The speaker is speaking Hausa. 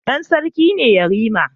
Dan sarki ne yarima